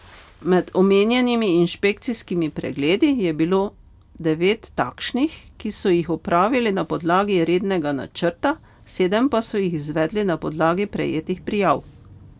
Med omenjenimi inšpekcijskimi pregledi je bilo devet takšnih, ki so jih opravili na podlagi rednega načrta, sedem pa so jih izvedli na podlagi prejetih prijav.